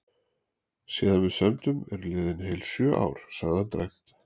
Síðan við sömdum eru liðin heil sjö ár, sagði hann dræmt.